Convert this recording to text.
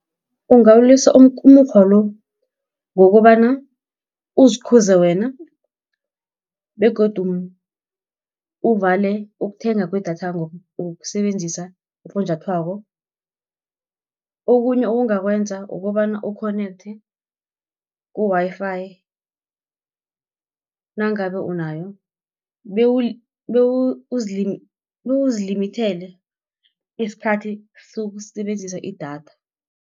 Ungawulisa umukghwa lo, ngokobana uzikhuze wena, begodu uvale ukuthengwa kwedatha ngokusebenzisa ufunjathwako. Okhunye ongakwenza kukobana u-connecte ku-Wi-Fi nangabe unayo, bewuzilimithele isikhathi sokusebenzisa idatha.